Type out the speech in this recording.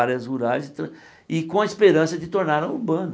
Áreas rurais e tra e com a esperança de torná-la urbana.